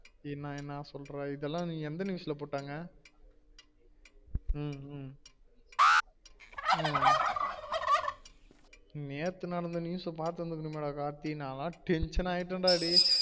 என்ன என்னா சொல்றா இதெல்லாம் எந்த news ல போட்டாங்க ஹம் உம் ஆஹ் நேத்து நடந்த news பாத்து இருந்துக்கனுமே கார்த்தி நான் ல tension ஆகிட்டேன் டா டேய்